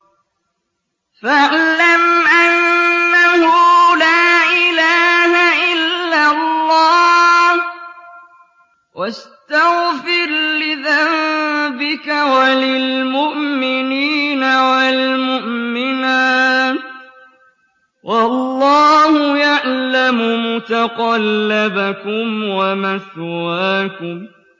فَاعْلَمْ أَنَّهُ لَا إِلَٰهَ إِلَّا اللَّهُ وَاسْتَغْفِرْ لِذَنبِكَ وَلِلْمُؤْمِنِينَ وَالْمُؤْمِنَاتِ ۗ وَاللَّهُ يَعْلَمُ مُتَقَلَّبَكُمْ وَمَثْوَاكُمْ